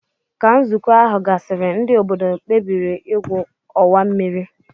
Ka nzukọ ahu gasiri ndi obodo kpebiri igwu owa mmiri.